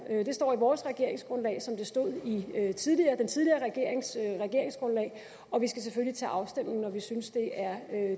det står i vores regeringsgrundlag som det stod i den tidligere regerings regeringsgrundlag og vi skal selvfølgelig til afstemning når vi synes det er